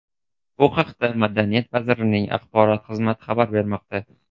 Bu haqda Madaniyat vazirligining axborot xizmati xabar bermoqda .